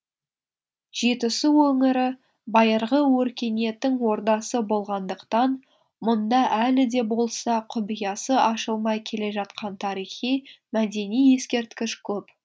жетісу өңірі байырғы өркениеттің ордасы болғандықтан мұнда әлі де болса құпиясы ашылмай келе жатқан тарихи мәдени ескерткіш көп